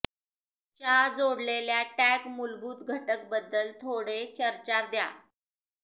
च्या जोडलेल्या टॅग मूलभूत घटक बद्दल थोडे चर्चा द्या